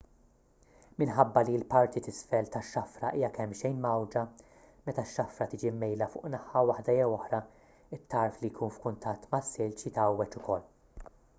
minħabba li l-parti t'isfel tax-xafra hija kemmxejn mgħawwġa meta x-xafra tiġi mmejla fuq naħa waħda jew oħra it-tarf li jkun f'kuntatt mas-silġ jitgħawweġ ukoll